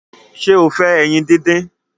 ṣe o fè ẹyin dín dín?